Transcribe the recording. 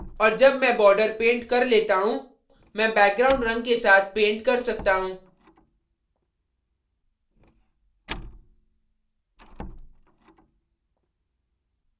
और जब मैं border paint कर लेता हूँ मैं background रंग के साथ paint कर सकता हूँ